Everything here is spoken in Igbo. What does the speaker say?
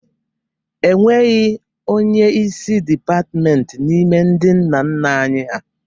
E nweghị onyeisi dịpatimentị n'ime ndị nna nna anyị ha.